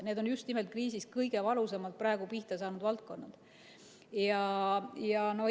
Need on just nimelt kriisis kõige valusamalt pihta saanud valdkonnad praegu.